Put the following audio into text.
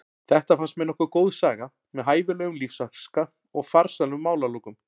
Þetta fannst mér nokkuð góð saga með hæfilegum lífsháska og farsælum málalokum.